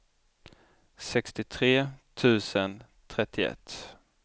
sextiotre tusen trettioett